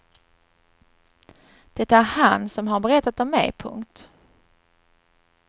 Det är han som har berättat om mig. punkt